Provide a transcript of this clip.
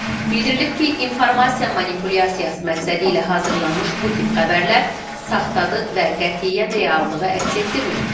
Bildirilib ki, informasiya manipulyasiyası məqsədilə hazırlanmış bu tip xəbərlər saxtadır və qətiyyən reallığı əks etdirmir.